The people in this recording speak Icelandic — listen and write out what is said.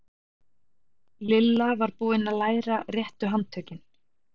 Lilla var búin að læra réttu handtökin.